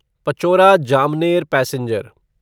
Pachora Jamner passenger